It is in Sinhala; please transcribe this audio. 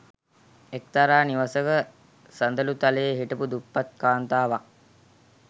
එක්තරා නිවසක සඳළුතලයේ හිටපු දුප්පත් කාන්තාවක්